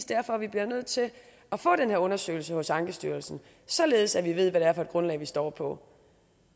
derfor vi bliver nødt til at få den her undersøgelse hos ankestyrelsen således at vi ved hvad det er for et grundlag vi står på